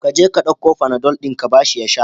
Ka je ka ɗauko fanadol din ka ba shi ya sha.